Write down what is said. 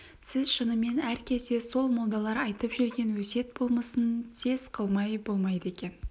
сіз шынымен әр кезде сол молдалар айтып жүрген өсиет болмысын сез қылмай болмайды екен